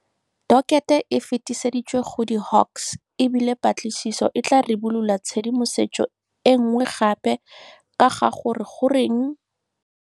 Dokete e fetiseditswe go di Hawks, e bile patlisiso e tla ribolola tshedimosetso e nngwe gape ka ga gore goreng.